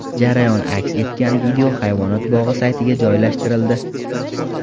Jarayon aks etgan video hayvonot bog‘i saytiga joylashtirildi.